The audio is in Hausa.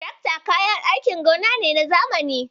Tirakta kayan aikin gona ne na zamani.